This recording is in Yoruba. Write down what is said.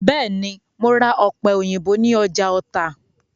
Bẹ́ẹ̀ ni, mo ra ọ̀pẹ̀- òyìnbó ní ọjà Ọ̀tà.